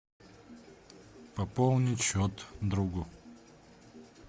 пополнить счет другу